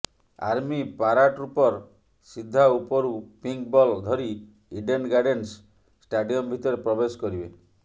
army paratrooper ସିଧା ଉପରୁ pink ball ଧରି ଇଡେନ୍ ଗାର୍ଡେନ୍ସ ଷ୍ଟାଡିୟମ ଭିତରେ ପ୍ରବେଶ କରିବେ